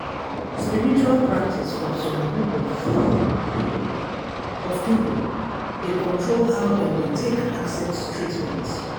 spiritual practice from some group of people of people dey control how dem take dey accept treatment.